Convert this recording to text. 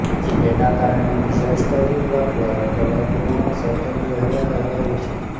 જેના કારણે ડિઝાસ્ટર વિભાગ દ્વારા તલાટીઓને સતર્ક રહેવા કહેવાયું છે